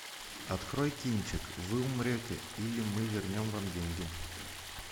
открой кинчик вы умрете или мы вернем вам деньги